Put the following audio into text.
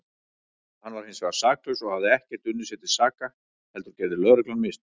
Hann var hinsvegar saklaus og hafði ekkert unnið sér til saka heldur gerði lögreglan mistök.